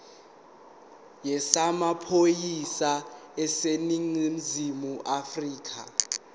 yezamaphoyisa aseningizimu afrika